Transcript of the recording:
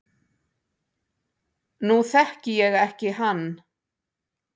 Nú þekki ég ekki hann